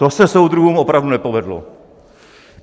To se soudruhům opravdu nepovedlo.